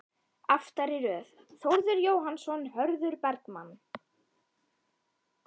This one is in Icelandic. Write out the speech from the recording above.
Aftari röð: Þórður Jóhannsson, Hörður Bergmann